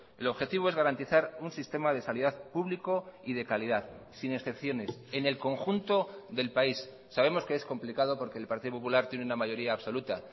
el objetivo es garantizar un sistema de sanidad público y de calidad sin excepciones en el conjunto del país sabemos que es complicado porque el partido popular tiene una mayoría absoluta